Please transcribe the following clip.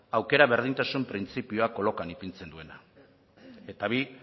aukera berdintasun printzipioa kolokan ipintzen duena eta bi